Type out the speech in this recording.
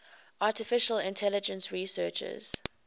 artificial intelligence researchers